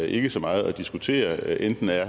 ikke så meget at diskutere enten er